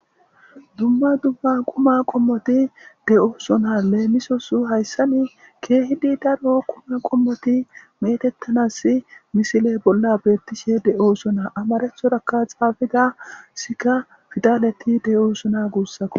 Duma duma quma qommoti de'osona lemisos hayssan kehi lo'o quma qommoti metetanas misile bolla betishe de'osona amharatoraka xafetida siga fidaleti de'osonako.